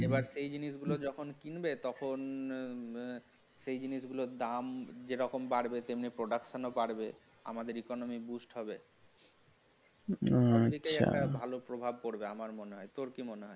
এবার এই জিনিসগুলো যখন কিনবো তখন উহ সেই জিনিস গুলো যে রকম দাম বাড়বে তেমনি production বাড়বে আমাদের economy হবে একটা ভালো প্রভাব পড়বে আমার মনে হয় তোর কি মনে হয়